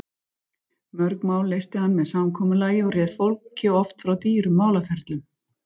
Mörg mál leysti hann með samkomulagi og réð fólki oft frá dýrum málaferlum.